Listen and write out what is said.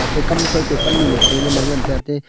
te kamshoi ke pannu nu femana ngante ate.